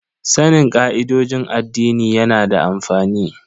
Sanin ka'idojin addini yana da amfani.